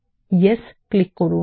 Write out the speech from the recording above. yes click করুন